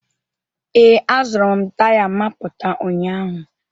Ee, azụrụm taya mapụta ụnyaahụ.